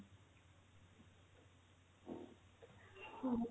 ହଁ